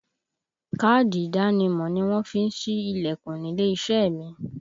Káàdì ìdánimọ̀ ni wọ́n fi ń sí Ilẹ̀kùn nílé iṣẹ́ mi